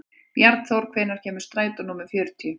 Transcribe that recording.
Bjarnþór, hvenær kemur strætó númer fjörutíu?